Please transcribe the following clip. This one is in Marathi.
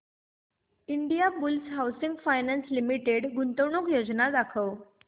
इंडियाबुल्स हाऊसिंग फायनान्स लिमिटेड गुंतवणूक योजना दाखव